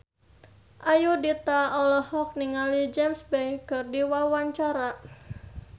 Ayudhita olohok ningali James Bay keur diwawancara